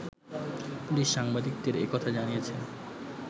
police সাংবাদিকদের একথা জানিয়েছে